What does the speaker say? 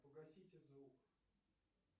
погасите звук